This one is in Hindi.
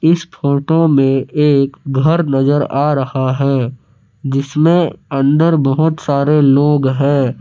इस फोटो में एक घर नजर आ रहा है जिसमें अंदर बहोत सारे लोग हैं।